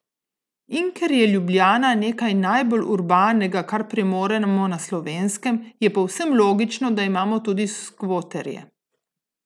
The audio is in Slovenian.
In ker je Ljubljana nekaj najbolj urbanega, kar premoremo na Slovenskem, je povsem logično, da imamo tudi skvoterje!